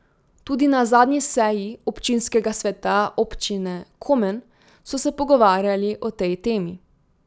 Tudi na zadnji seji občinskega sveta Občine Komen so se pogovarjali o tej temi.